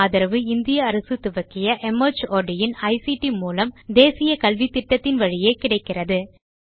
இதற்கு ஆதரவு இந்திய அரசு துவக்கிய மார்ட் இன் ஐசிடி மூலம் தேசிய கல்வித்திட்டத்தின் வழியே கிடைக்கிறது